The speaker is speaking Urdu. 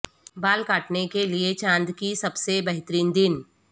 بال کاٹنے کے لئے چاند کی سب سے بہترین دن